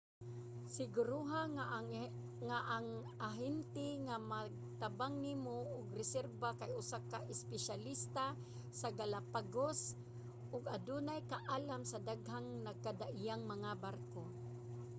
siguroha nga ang ahente nga magtabang nimo og reserba kay usa ka espesyalista sa galapagos ug adunay kaalam sa daghang nagkadaiyang mga barko